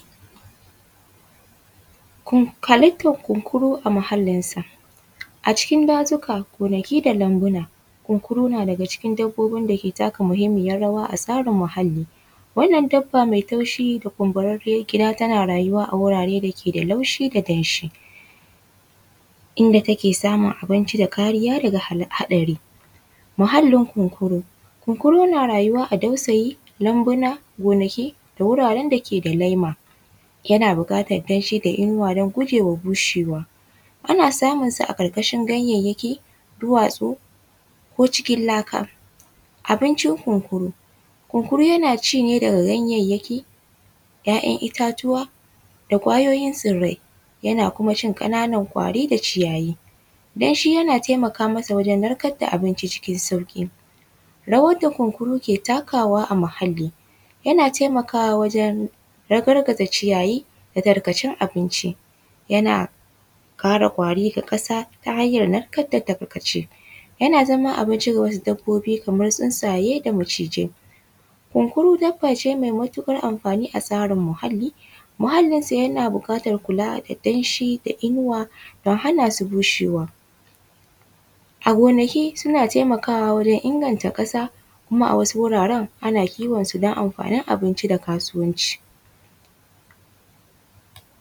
Halittar kunkuru a muhallinsa. A cikin dazuka, gonaki da lambuna, kunkura na daga cikin dabobin da ke taka muhimmiyar rawa a tsarin muhalli. Wannan dabba mai taushi da kumburarriyar gida tana rayuwa a wurare da ke da laushi da danshi, inda take samun abinci da kariya daga haɗari. Muhallin kunkuru: kunkuru na rayuwa a dausayi, lambuna, gonaki da wuraren da ke da lema. Yana buƙatar danshi da inuwa don guje wa bushewa. Ana samunsa a ƙarƙashin ganyayyaki, duwatsu ko cikin laka. Abincin kunkuru: kunkuru yana ci ne daga ganyayyaki, ‘ya’yan itatuwa da ƙwayoyin tsirrai. Yana kuma cin ƙananan ƙwari da ciyayi. Danshi yana taimaka masa wajen narkar da abinci cikin sauƙi. Rawar da kunkuru ke takawa a muhalli: yana taimakawa wajen ragargaza ciyayi da tarkacen abinci. Yana kare ƙwari da ƙasa ta hanyar narkar da tarkace. Yana zama abinci ga wasu dabbobi kamar tsuntsaye da macizai. Kunkuru dabba ce mai matuƙar amfani a tsarin muhalli. Muhallinsa yana buƙatar kula da danshi da inuwa don hana su bushewa. A gonaki suna taimakawa wurin inganta ƙasa kuma a wasu wuraren, ana kiwonsu don amfanin abinci da kasuwanci.